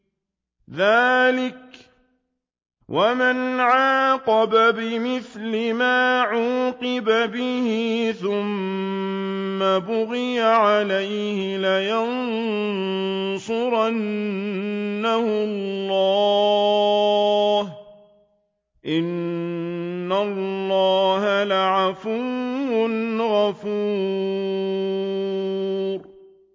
۞ ذَٰلِكَ وَمَنْ عَاقَبَ بِمِثْلِ مَا عُوقِبَ بِهِ ثُمَّ بُغِيَ عَلَيْهِ لَيَنصُرَنَّهُ اللَّهُ ۗ إِنَّ اللَّهَ لَعَفُوٌّ غَفُورٌ